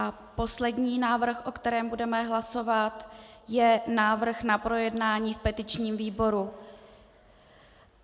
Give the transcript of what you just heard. A poslední návrh, o kterém budeme hlasovat, je návrh na projednání v petičním výboru.